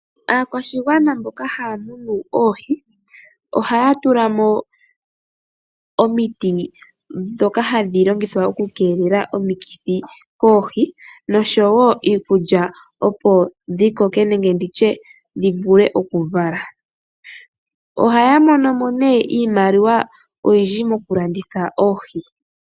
Aakwashigwana mboka haya munu oohi oha ya tulamo omiti ndhoka hadhi longithwa okukeelela omikithi koohi noshowo iikulya opo dhi koke nenge dhi vule okuvala oha ya monomo nee iimaliwa oyindji mokulanditha oohi.